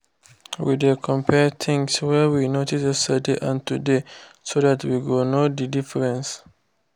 we dey compare things wey we notice yesterday and today so that we go know the difference